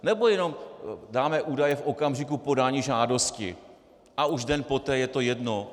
Nebo jenom dáme údaje v okamžiku podání žádosti a už den poté je to jedno?